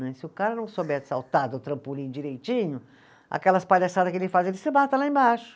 Né, se o cara não souber saltar do trampolim direitinho, aquelas palhaçadas que ele faz, ele se mata lá embaixo.